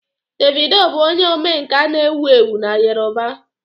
Davido bụ onye omenkà na-ewu ewu na yoruba.